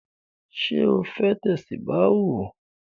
Sọ fẹ́ tẹ̀sùbáà?